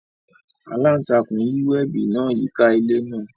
Alantakun yi webi naa yika ile naa.